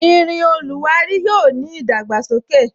Irin oluwari yóò ní idagbasoke.